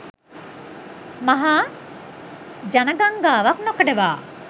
මහා ජනගංගාවක් නොකඩවා